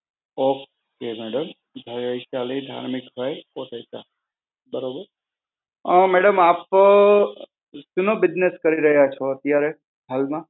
okay madam. Vaisha Dharmikbhai Kotecha. બરોબર? અ madam આપ શાનો business કરી રહ્યા છો અત્યારે હાલમાં?